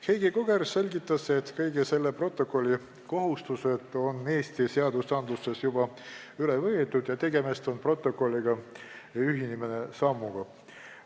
Heidi Koger selgitas, et kõik selle protokolli kohustused on Eesti seadustesse juba üle võetud ja tegemist on protokolliga ühinemise sammuga.